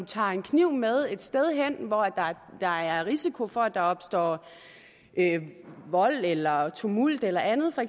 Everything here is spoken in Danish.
tager en kniv med et sted hen hvor der er risiko for at der opstår vold eller tumult eller andet for